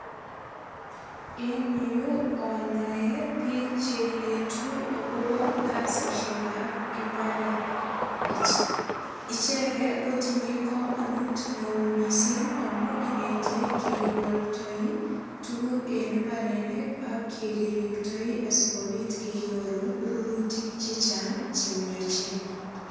Eng yu anoe biik che enetu agobo kasisiekab imbaret, icheget kotinye kamanut neo mising amu ineti yekigoldoi tuguk en imbarenik ak yekiriptoi sigopit kenyorun rurutik che chang che miachen.